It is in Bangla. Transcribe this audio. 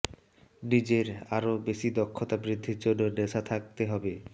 নিজের আরও বেশি দক্ষতা বৃদ্ধির জন্য নেশা থাকতে হবে